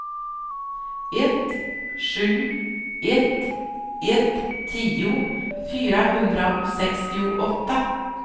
ett sju ett ett tio fyrahundrasextioåtta